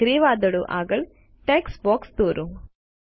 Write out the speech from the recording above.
અને ગ્રે વાદળો આગળ ટેક્સ્ટ બોક્સ દોરો